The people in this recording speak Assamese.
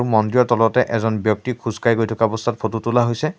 মন্দিৰৰ তলতে এজন ব্যক্তিক খোজকাঢ়ি গৈ থকা অৱস্থাত ফটো তোলা হৈছে।